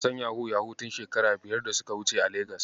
Na san yahu-yahu tun shekaru biyar da suka wuce a Legas.